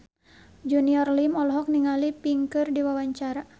Junior Liem olohok ningali Pink keur diwawancara